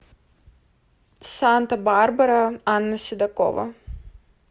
санта барбара анна седокова